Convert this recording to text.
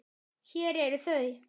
Hér eru þau